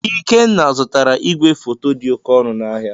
Ikenna zụtara igwefoto dị oke ọnụ n'ahịa.